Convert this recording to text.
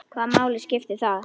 Hvaða máli skiptir það?